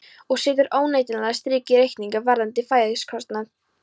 Og setur óneitanlega strik í reikninginn varðandi fæðiskostnað.